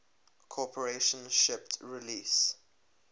corporation shipped release